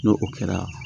N'o kɛra